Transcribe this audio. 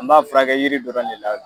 An b'a fura kɛ yiri dɔrɔn de la.